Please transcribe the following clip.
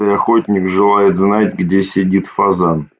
и охуительно в желает знать где сидит фазан